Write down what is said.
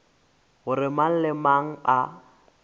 gore mang le mang a